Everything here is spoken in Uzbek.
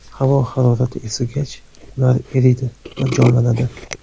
Havo harorati isigach, ular eriydi va jonlanadi.